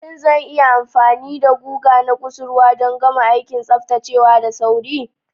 Shin zan yi amfani da guga na kusurwa don gama aikin tsaftacewa da sauri?